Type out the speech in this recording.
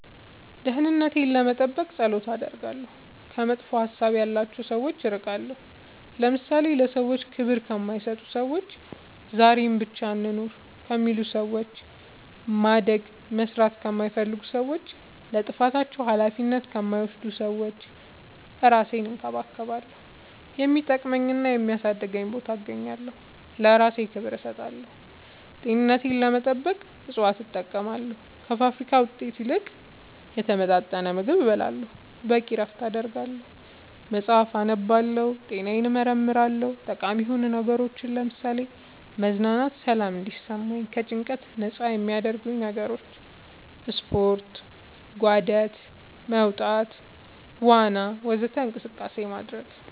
ደህንነቴን ለመጠበቅ ፀሎት አደርጋለሁ ከመጥፎ ሀሳብ ያላቸው ሰዎች እርቃለሁ ለምሳሌ ለሰዎች ክብር ከማይሰጡ ሰዎች ዛሬን ብቻ እንኑር ከሚሉ ሰዎች ማደግ መስራት ከማይፈልጉ ሰዎች ለጥፋታቸው አላፊነት ከማይወስዱ ሰዎች እራሴን እንከባከባለሁ የሚጠቅመኝና የሚያሳድገኝ ቦታ እገኛለሁ ለእራሴ ክብር እሰጣለሁ ጤንነቴን ለመጠበቅ እፅዋት እጠቀማለሁ ከፋብሪካ ውጤት ይልቅ የተመጣጠነ ምግብ እበላለሁ በቂ እረፍት አደርጋለሁ መፅአፍ አነባለሁ ጤናዬን እመረመራለሁ ጠቃሚ የሆኑ ነገሮች ለምሳሌ መዝናናት ሰላም እንዲሰማኝ ከጭንቀት ነፃ የሚያረጉኝ ነገሮች ስፓርት ጋደት መውጣት ዋና ወዘተ እንቅስቃሴ ማድረግ